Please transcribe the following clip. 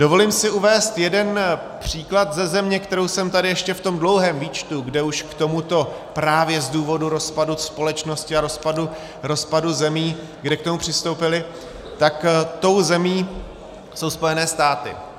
Dovolím si uvést jeden příklad ze země, kterou jsem tady ještě v tom dlouhém výčtu, kde už k tomuto právě z důvodu rozpadu společnosti a rozpadu zemí, kde k tomu přistoupili, tak tou zemí jsou Spojené státy.